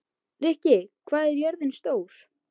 Rikka, hvað er jörðin stór?